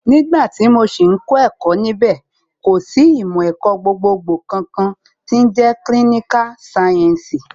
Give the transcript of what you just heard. Nígbà tí mo sì ń kẹ́kọ̀ọ́ níbẹ̀, kò sì ìmọ̀ ẹ̀kọ́ gbogbogbò kankan tí ń jẹ́ kílíníkà sáyẹ́ǹsì